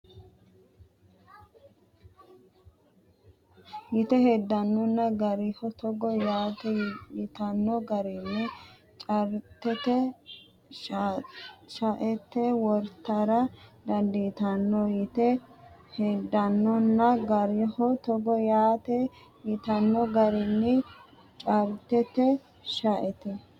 Yite heddannonna garaho togo yaate yitanno garinni chaartete shaete wortara dandiitanno Yite heddannonna garaho togo yaate yitanno garinni chaartete shaete.